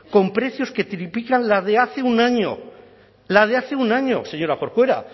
con precios que triplican la de hace un año la de hace un año señora corcuera